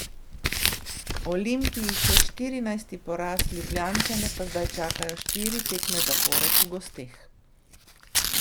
Olimpiji še štirinajsti poraz, Ljubljančane pa zdaj čakajo štiri tekme zapored v gosteh.